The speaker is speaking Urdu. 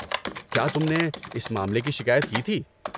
کیا تم نے اس معاملے کی شکایت کی تھی؟